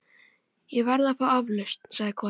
Ég verð að fá aflausn, sagði konan.